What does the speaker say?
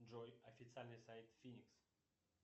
джой официальный сайт финикс